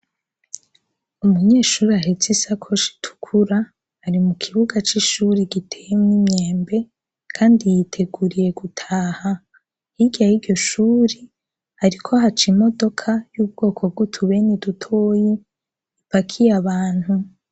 Umunyeshuri ahetse isakosha itukura ari mu kibuga c'ishuri gitemwe imyembe, kandi yiteguriye gutaha hiryayiryoshuri, ariko haca imodoka y'ubwoko bw'utubene i dutoyi ipakiye abantu.